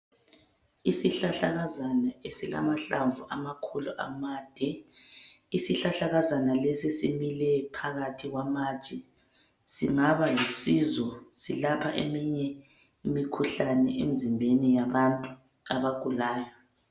Isihlahlakazana esikhulu esilamahlamvu amade isihlahlakazana lesi simile phakathi kwamatshe singabalusizo selapha imikhuhlane emizimbeni yabantu abagulayo